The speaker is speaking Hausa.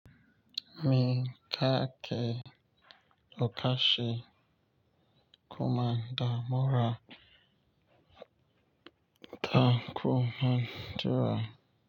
Mi take ƙarƙashin kwamanda mura ta kwamandira.